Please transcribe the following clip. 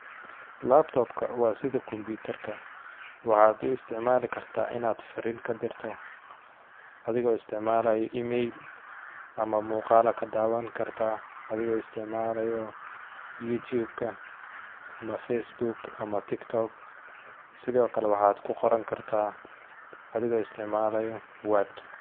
Laptop ka waa sidi combiitar ka ,waxaad u isticmaali kartaa inaad fariin ka dirto ,adigoo isticmalaayo e-mail ama muuqaal aa ka daawan kartaa adigoo isticmalaayo youtube ka ama facebook ama tiktok ,sidoo kale waxaad ku qoran kartaa adigoo isicmalaayo word .